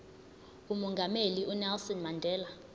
umongameli unelson mandela